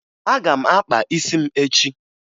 Aga m akpa isi m echi